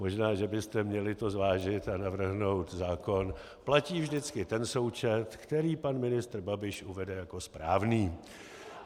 Možná že byste to měli zvážit a navrhnout zákon: platí vždycky ten součet, který pan ministr Babiš uvede jako správný.